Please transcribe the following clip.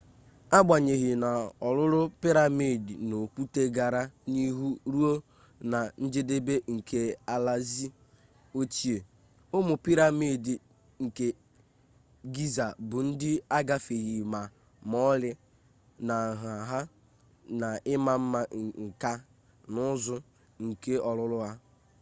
agbanyeghị na ọrụrụ-piramidi n'okwute gara n'ihu ruo na njedebe nke alaeze ochie ụmụ piramidi nke giza bụ ndị agafeghị ma ọlị na nha ha na ima mma nka na ụzụ nke ọrụrụ ha